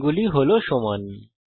কোণগুলি সমান